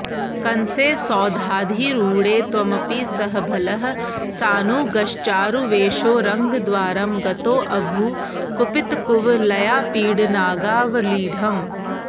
कंसे सौधाधिरूढे त्वमपि सहबलः सानुगश्चारुवेषो रङ्गद्वारं गतोऽभूः कुपितकुवलयापीडनागावलीढम्